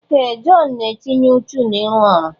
Ee! Jọn na-etinye ùchù n'ịrụ ọrụ.